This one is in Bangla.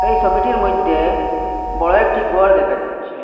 এই সবিটির মইধ্যে বড় একটি ঘর দেখা যাচ্ছে।